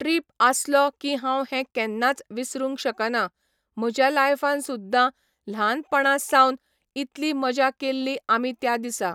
Trip आसलो की हांव हें केन्नाच विसरूंक शकना, म्हज्या लायफान सुद्दां ल्हानपणा सावन इतली मजा केल्ली आमी त्या दिसा.